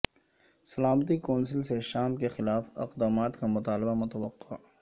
سلامتی کونسل سے شام کے خلاف اقدامات کا مطالبہ متوقع